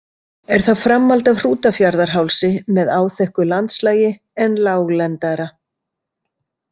Er það framhald af Hrútafjarðarhálsi með áþekku landslagi en láglendara.